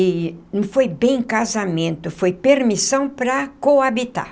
E não foi bem casamento, foi permissão para coabitar.